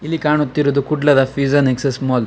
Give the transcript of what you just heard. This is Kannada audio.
ಇಲ್ಲಿ ಕಾಣುತ್ತಿರುದು ಕುಡ್ಲದ ಪಿಜ್ಜಾ ನೆಕ್ಸಸ್ ಮಾಲ್ .